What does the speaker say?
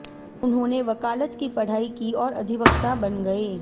उन्होंने वकालत की पढ़ाई की और अधिवक्ता बन गए